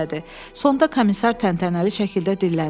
Sonda komisar təntənəli şəkildə dilləndi.